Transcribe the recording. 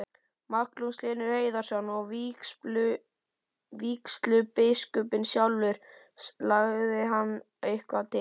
Magnús Hlynur Hreiðarsson: Og vígslubiskupinn sjálfur, lagði hann eitthvað til?